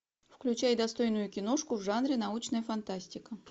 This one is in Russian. включай достойную киношку в жанре научная фантастика